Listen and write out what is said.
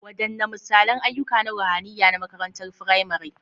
Wadanne misalan ayyuka na ruhaniya na makarantar firamare?